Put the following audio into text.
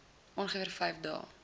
ongeveer vyf dae